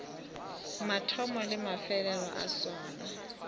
mathomo le mafelelo a sona